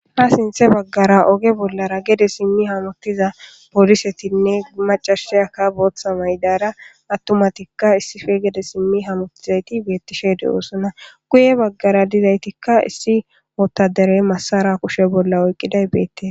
ha sinthe baggara oge bollara gede simmi hamutiza polisetinne macashiyakka booththa maydara attumatikka issife gede simmi hamutizayti beettishe de7oosona guye baggara dizaytikka issi oottaderey masara kushe bolla oyqqiday beette